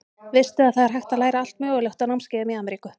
Veistu að það er hægt að læra allt mögulegt á námskeiðum í Ameríku.